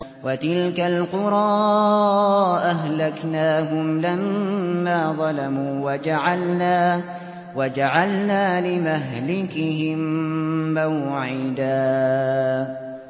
وَتِلْكَ الْقُرَىٰ أَهْلَكْنَاهُمْ لَمَّا ظَلَمُوا وَجَعَلْنَا لِمَهْلِكِهِم مَّوْعِدًا